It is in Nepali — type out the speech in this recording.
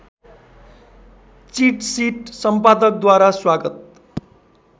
चिटसिट सम्पादकद्वारा स्वागत